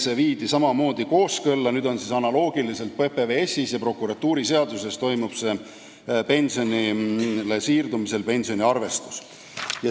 See viidi kooskõlla ja nüüd toimub PPS-i ja prokuratuuriseaduse alusel pensioniarvestus analoogiliselt.